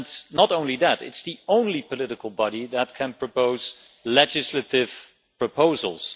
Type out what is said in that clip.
not only that, it is the only political body that can propose legislative proposals.